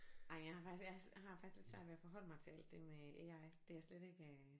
Ej jeg har faktisk jeg har faktisk lidt svært ved at forholde mig til al den AI det er jeg slet ikke